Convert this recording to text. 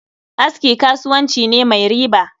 Aski kasuwanci ne mai riba